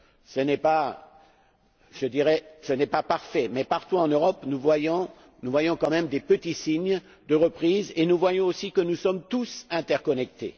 Ce n'est pas parfait, mais, partout, en Europe, nous voyons quand même de petits signes de reprise et nous voyons aussi que nous sommes tous interconnectés.